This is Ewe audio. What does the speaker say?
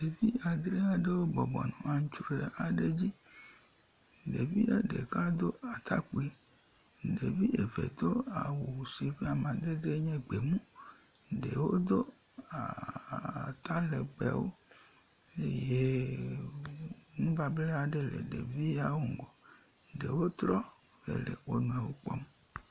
ɖevi andre aɖewo bɔbɔnɔ aŋtsroe aɖe dzi ɖevia ɖeka dó atakpui ɖevi eve do.awu si ƒe amadede nye gbemu ɖewo do aaa atalegbewo eye ŋubabla ɖe le ɖeviawo ŋgɔ ɖewo trɔ le wonɔewo kpɔm